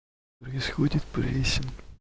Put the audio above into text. происходит прессинг